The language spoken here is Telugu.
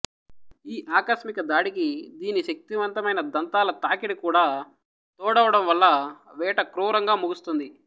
ఈ ఆకస్మిక దాడికి దీని శక్తివంతమైన దంతాల తాకిడి కూడా తోడవడం వల్ల వేట క్రూరంగా ముగుస్తుంది